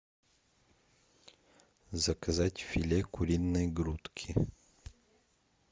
заказать филе куриной грудки